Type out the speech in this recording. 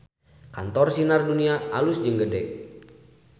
Kantor Sinar Dunia alus jeung gede